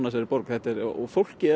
af þessari borg fólkið